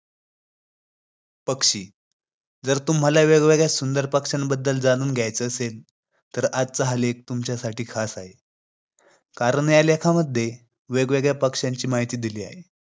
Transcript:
छत्रपती शिवाजी महाराजांनी चौदा वर्षाचे असताना राजांची पुण्याची जहागिरी राजमाता जिजाऊनच्या स्वाधीन केली.